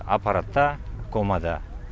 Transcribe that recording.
апаратта комада